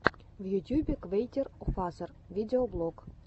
в ютьюбе квертийофазер видеоблог